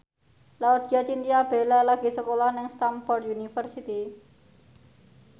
Laudya Chintya Bella lagi sekolah nang Stamford University